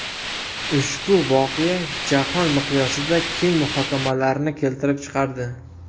Ushbu voqea jahon miqyosida keng muhokamalarni keltirib chiqardi.